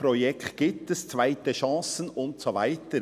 Es gibt Projekte, zweite Chancen und so weiter.